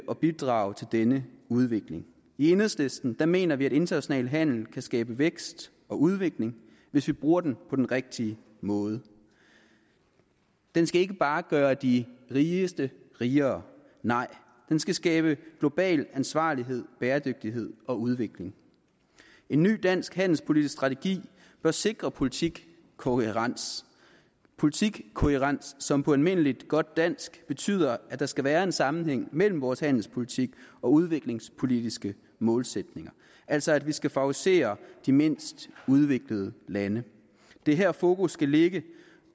at bidrage til denne udvikling i enhedslisten mener vi at international handel kan skabe vækst og udvikling hvis vi bruger det på den rigtige måde det skal ikke bare gøre de rigeste rigere nej det skal skabe global ansvarlighed bæredygtighed og udvikling en ny dansk handelspolitisk strategi bør sikre politikkohærens politikkohærens som på almindelig godt dansk betyder at der skal være en sammenhæng mellem vores handelspolitik og udviklingspolitiske målsætninger altså at vi skal favorisere de mindst udviklede lande det er her fokus skal ligge